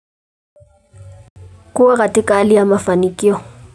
Kuwa katika hali ya mafanikio.